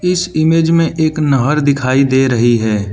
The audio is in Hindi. इस इमेज में एक नहर दिखाई दे रही है।